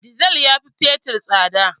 Dizal ya fi fetur tsada.